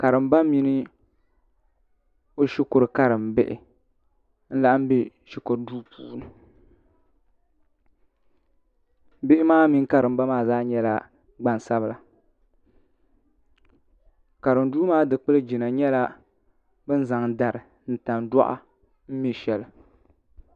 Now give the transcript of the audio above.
karimba mini o shikuru karimbihi n-laɣim be shikuru duu puuni bihi maa mini karimba maa zaa nyɛla gban'sabila karimduu maa dukpuligina nyɛla bɛ ni zaŋ dari ni tandɔri me shɛli